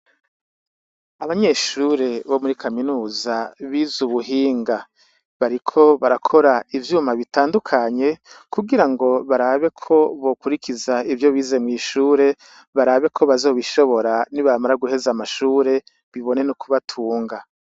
Abanyeshure bo muri Kaminuza bize Ubuhinga. Bariko barakora ivyuma bitandukanye kugira ngo barabe ko bokurikiza ivyo bize mw'ishure, barabe ko bazobishora nibamara guheza amashure bibone no kubatunga.